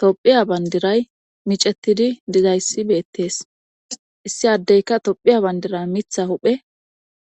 tophiya bandiray micettidi dizayssi beettees issi addeyka tophiya bandira mitha huphe